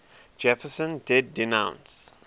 jefferson did denounce